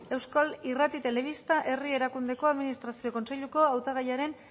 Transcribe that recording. euskal irrati telebista herri erakundeko administrazio kontseiluko hautagaiaren